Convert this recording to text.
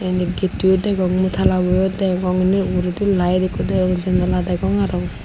inni gettoyo degong mui talaboyo degong inni uguredi layed ikko degong janala degong aro.